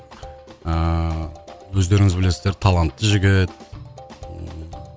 ыыы өздеріңіз білесіздер талантты жігіт ыыы